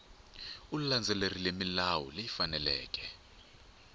u landzelerile milawu leyi faneleke